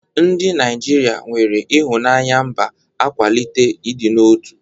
Ndị Naijiria nwere ịhụnanya mba akwalitela ịdị n'otu.